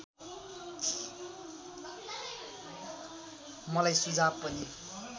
मलाई सुझाव पनि